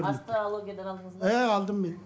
астрологиядан алдыңыз ба і алдым мен